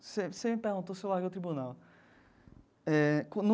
Você você me perguntou se eu larguei o tribunal. Eh como.